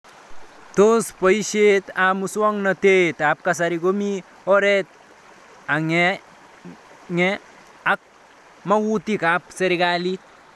Tos poishet a muswognatet ab kasari komii oret ag'eng'e ak magutik ab serikalit